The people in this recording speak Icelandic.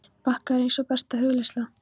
bakka er eins og besta hugleiðsla.